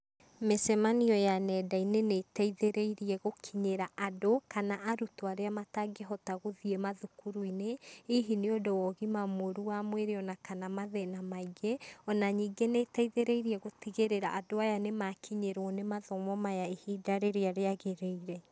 Mĩcemanio ya nenda-inĩ nĩ ĩteithĩrĩirie gũkinyĩra andũ kana arutwo arĩa matangĩhota gũthiĩ mathukuru-inĩ, hihi nĩ ũndũ wa ũgima mũru wa mwĩrĩ ona kana mathĩna maingĩ. Ona ningĩ nĩ ĩteithĩrĩirie gũtigĩrĩra andũ aya nĩ makinyĩrwo nĩ mathomo maya ihinda rĩrĩa rĩagĩrĩire.